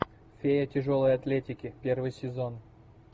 фея тяжелой атлетики первый сезон